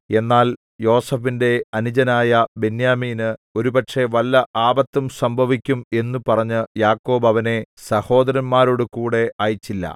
എന്നാൽ യോസേഫിന്റെ അനുജനായ ബെന്യാമീന് ഒരുപക്ഷേ വല്ല ആപത്തും സംഭവിക്കും എന്നു പറഞ്ഞ് യാക്കോബ് അവനെ സഹോദരന്മാരോടുകൂടെ അയച്ചില്ല